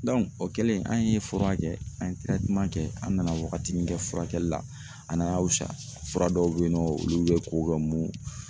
o kɛlen an ye fura kɛ an ye kɛ an nana wagatini kɛ furakɛli la a nana wusa , fura dɔw be yen nɔ olu be ko ka mun